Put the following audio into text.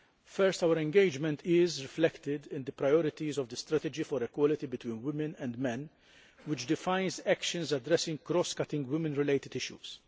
First, our engagement is reflected in the priorities of the strategy for equality between women and men, which defines actions addressing cross cutting women related issues.